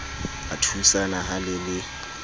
a thusana ha le le